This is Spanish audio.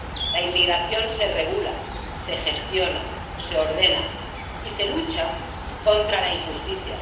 La inmigración se regula, se gestiona, se ordena, y se lucha contra la injusticia